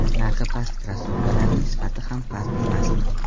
Narxi past krossovkalarning sifati ham past emasmi?.